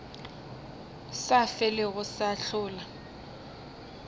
sa felego se a hlola